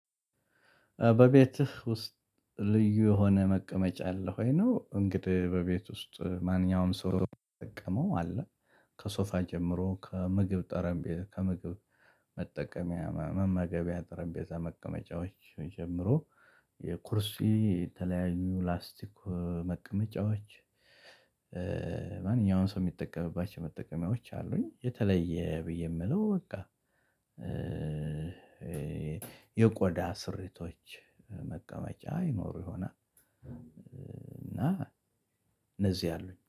በቤትህ? ውስጥ ልዩ የሆነ መቀመጫ አለህ ወይ ነው እንግዲህ በቤት ውስጥ ማንኛውም ሰው ሚጠቀመው አለ። ከሶፋ ጀምሮ ከምግብ ጠረንቤ ከምግብ መጠቀሚያ መመገቢያ ጥረቤዛ መቀመጫዎች ጀምሮ። የኩርሴ የተለያዩ ላስቲክ መቀመጫዎች። ማንኛውንም ሰው ሚጠቀምባቸው መጠቀሚያዎች አሉኝ የተለየ ብዬ ምለው በቃ። የቆዳ ስሪቶች መቀመጫ ይኖሩ ይሆናል። እና እነዚህ አሉኝ